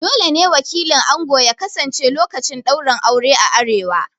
Dole ne wakilin ango ya kasance lokacin ɗaurin aure a arewa